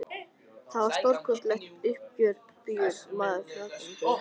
Það var stórkostlegt uppgjör og nú bíður maður fagnandi umskiptanna.